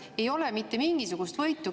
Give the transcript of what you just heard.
Ei ole mitte mingisugust võitu.